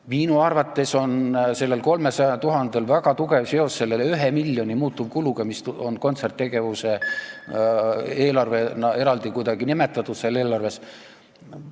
Minu arvates on sellel 300 000-l väga tugev seos selle 1 miljoni euro muutuvkuludega, mis on kontserttegevuse eelarvena eraldi kuidagi seal eelarves nimetatud ...